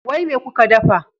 Wai me kuka ɗafa?